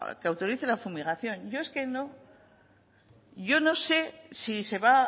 que autorice la fumigación yo es que no yo no sé si se va